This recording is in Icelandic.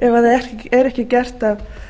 ef það